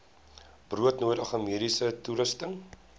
broodnodige mediese toerusting